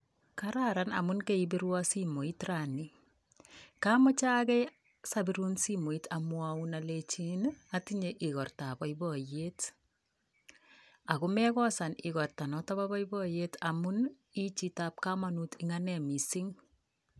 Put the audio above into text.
Kararan amun kaibirwon simoit rani komochage sobirun simoit amwaun alenjin atinye ogortab boiboiyet akomekosan igorta notok boiboiyet amun ichitab komonut eng' ane mising.